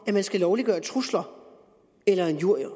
at man skal lovliggøre trusler eller injurier